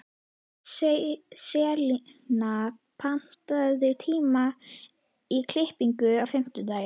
Selina, pantaðu tíma í klippingu á fimmtudaginn.